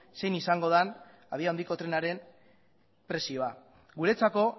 zein izango den abiadura handiko trenaren prezioa guretzako